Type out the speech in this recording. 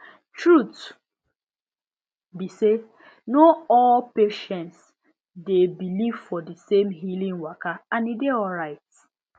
truth be say no all patients dey believe for di same healing waka and e dey alright